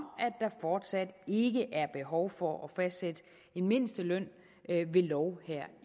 at der fortsat ikke er behov for at fastsætte en mindsteløn ved lov